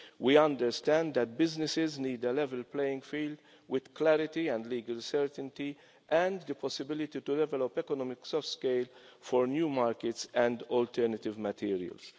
We understand that businesses need a level playing field, with clarity and legal certainty and the possibility to develop economics of scale for new markets and alternative materials.